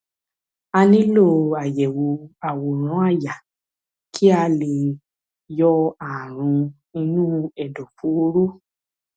a nílò àyẹwò àwòrán àyà kí a lè yọ ààrùn inú ẹdọfóró